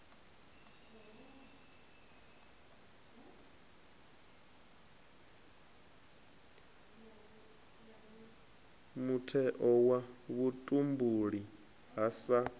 mutheo wa vhutumbuli ha sa